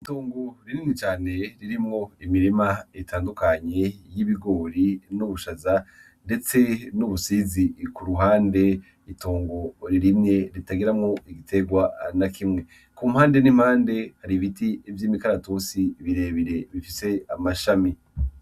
Itongu ririmwicane ririmwo imirima itandukanyi y'ibigori n'ubushaza, ndetse n'ubusizi ku ruhande itongo ririmye ritagiramwo igiterwa na kimwe ku mpande n'impande hari ibiti ivyo imikaratosi birebire bifise amashami.